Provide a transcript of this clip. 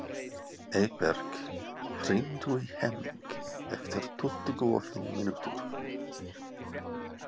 Eyberg, hringdu í Hemming eftir tuttugu og fimm mínútur.